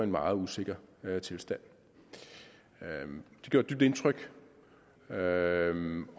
meget usikker tilstand det gjorde dybt indtryk